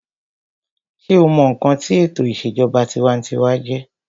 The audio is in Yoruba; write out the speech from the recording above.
sé o mọ ǹkan tí ètò ìṣèjọba tinwatinwa jẹ́?